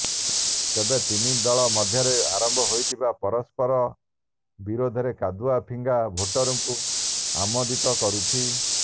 ତେବେ ତିନି ଦଳ ମଧ୍ୟରେ ଆରମ୍ଭ ହୋଇଥିବା ପରସ୍ପର ବିରୋଧରେ କାଦୁଅ ଫିଙ୍ଗା ଭୋଟରଙ୍କୁ ଆମୋଦିତ କରୁଛି